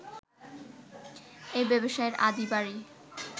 এই ব্যবসায়ীর আদি বাড়ি